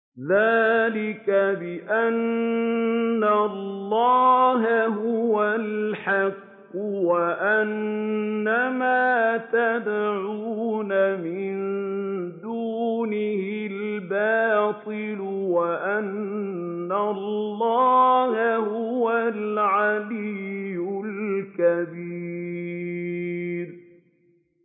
ذَٰلِكَ بِأَنَّ اللَّهَ هُوَ الْحَقُّ وَأَنَّ مَا يَدْعُونَ مِن دُونِهِ الْبَاطِلُ وَأَنَّ اللَّهَ هُوَ الْعَلِيُّ الْكَبِيرُ